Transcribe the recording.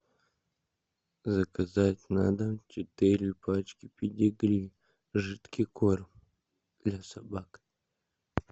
заказать на дом четыре пачки педигри жидкий корм для собак